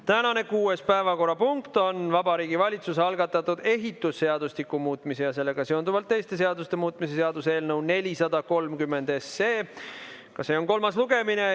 Tänane kuues päevakorrapunkt on Vabariigi Valitsuse algatatud ehitusseadustiku muutmise ja sellega seonduvalt teiste seaduste muutmise seaduse eelnõu 430 kolmas lugemine.